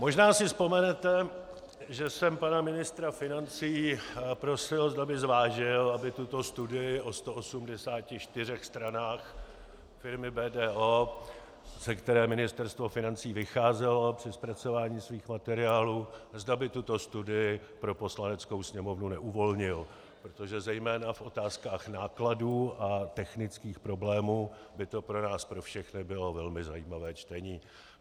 Možná si vzpomenete, že jsem pana ministra financí prosil, zda by zvážil, aby tuto studii o 184 stranách firmy BDO, ze které Ministerstvo financí vycházelo při zpracování svých materiálů, zda by tuto studii pro Poslaneckou sněmovnu neuvolnil, protože zejména v otázkách nákladů a technických problémů by to pro nás pro všechny bylo velmi zajímavé čtení.